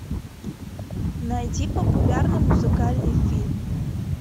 найди популярный музыкальный фильм